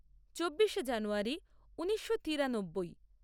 চব্বিশে জানুয়ারী ঊনিশো তিরানব্বই